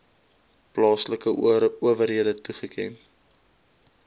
plaaslike owerhede toeken